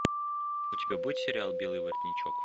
у тебя будет сериал белый воротничок